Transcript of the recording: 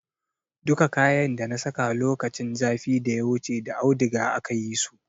Duka kayan dana saka lokacin zafin da ya wuce da audiga aka yi su.